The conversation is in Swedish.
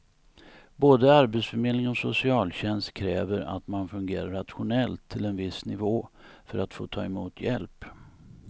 Både arbetsförmedling och socialtjänst kräver att man fungerar rationellt till en viss nivå för att få ta emot hjälp.